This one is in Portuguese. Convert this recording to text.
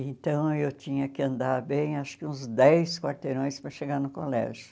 Então, eu tinha que andar bem, acho que uns dez quarteirões para chegar no colégio.